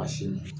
A sin